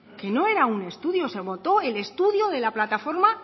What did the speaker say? que no era un estudio se amoldó el estudio de la plataforma